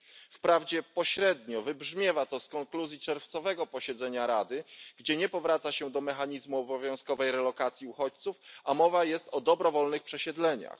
Wprawdzie pośrednio wybrzmiewa to z konkluzji czerwcowego posiedzenia Rady, gdzie nie powraca się do mechanizmu obowiązkowej relokacji uchodźców, a mowa jest o dobrowolnych przesiedleniach.